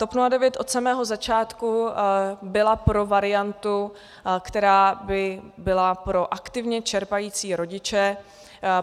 TOP 09 od samého začátku byla pro variantu, která by byla pro aktivně čerpající rodiče.